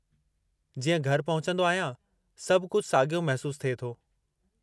जीअं घरि पहुचंदो आहियां, सभु कुझु साॻियो महिसूसु थिए थो।